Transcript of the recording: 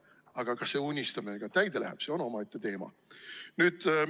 Aga kas see unistus ka täide läheb, see on omaette teema.